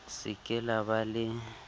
se ke la ba le